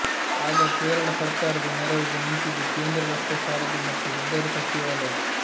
ಆಗ ಕೇರಳ ಸರ್ಕಾರದ ನೆರವಿಗೆ ನಿಂತಿದ್ದು ಕೇಂದ್ರ ರಸ್ತೆ ಸಾರಿಗೆ ಮತ್ತು ಹೆದ್ದಾರಿ ಸಚಿವಾಲಯ